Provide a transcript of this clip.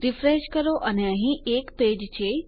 refresh કરો અને અહીં એક પેજ છે